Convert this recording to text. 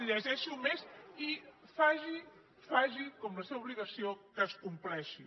llegeixi ho més i faci com és la seva obligació que es compleixi